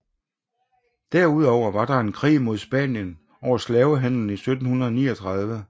Derudover var der en krig mod Spanien over slavehandelen i 1739